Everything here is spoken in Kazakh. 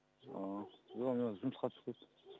ааа ия мен жұмысқа шығып кеттім